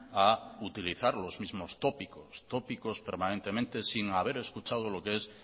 a utilizar los mismos tópicos tópicos permanentemente sin haber escuchado lo que es